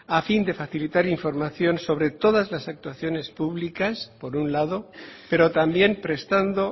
a fin de facilitar información sobre todas las actuaciones públicas por un lado pero también prestando